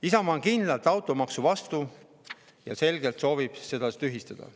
Isamaa on kindlalt automaksu vastu ja soovib selgelt seda tühistada.